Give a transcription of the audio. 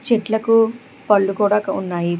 చెట్లకు పళ్ళు కూడ ఉన్నాయి.